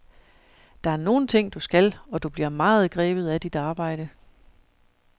Der er nogle ting, du skal, og du bliver meget grebet af dit arbejde.